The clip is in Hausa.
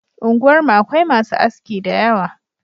Unguwar mu Akwai masu aski dayawa